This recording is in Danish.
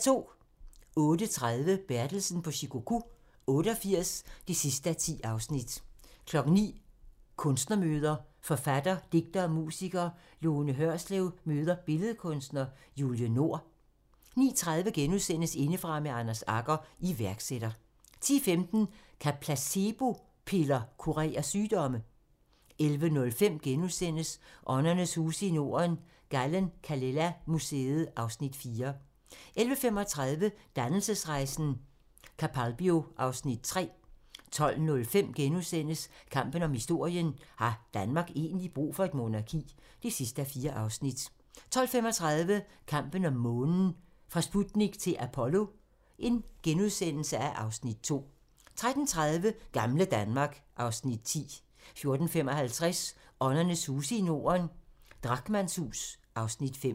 08:30: Bertelsen på Shikoku 88 (10:10) 09:00: Kunstnermøder: Forfatter, digter og musiker Lone Hørslev møder Billedkunstner Julie Nord 09:30: Indefra med Anders Agger - iværksætter * 10:15: Kan placebo-piller kurere sygdomme? * 11:05: Åndernes huse i Norden - Gallen-Kallela Museet (Afs. 4)* 11:35: Dannelsesrejsen - Capalbio (Afs. 3) 12:05: Kampen om historien - har Danmark egentlig brug for et monarki? (4:4)* 12:35: Kampen om månen - fra Sputnik til Apollo (Afs. 2)* 13:30: Gamle Danmark (Afs. 10) 14:55: Åndernes huse i Norden - Drachmanns hus (Afs. 5)